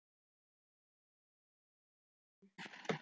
Þar eru þau enn.